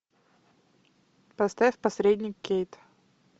поставь посредник кейт